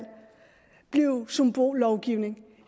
blive symbollovgivning